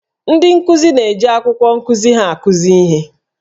Ndị nkuzi na-eji akwụkwọ nkuzi ha akụzi ihe